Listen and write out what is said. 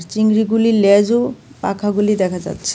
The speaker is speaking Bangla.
চিংড়িগুলির লেজ ও পাখাগুলি দেখা যাচ্ছে.